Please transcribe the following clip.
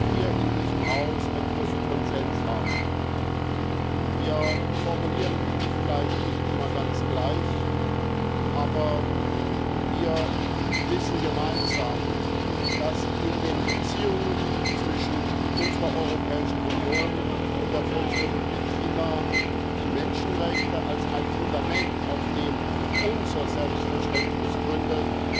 hier in diesem Haus einen großen Konsens haben. Wir formulieren vielleicht nicht immer ganz gleich, aber wir wissen gemeinsam, dass in den Beziehungen zwischen unserer Europäischen Union und der Volksrepublik China die Menschenrechte als ein Fundament, auf dem unser Selbstverständnis gründet,